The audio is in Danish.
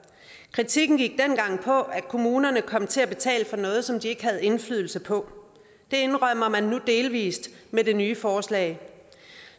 kritikken gik dengang på at kommunerne kom til at betale for noget som de ikke havde indflydelse på det indrømmer man nu delvis med det nye forslag